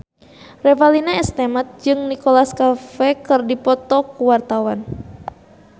Revalina S. Temat jeung Nicholas Cafe keur dipoto ku wartawan